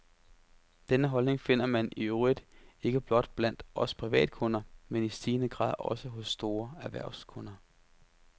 Denne holdning finder man i øvrigt ikke blot blandt os privatkunder, men i stigende grad også hos store erhvervskunder.